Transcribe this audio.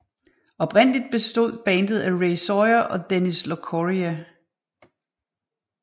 Oprindeligt bestod bandet af Ray Sawyer og Dennis Locorriere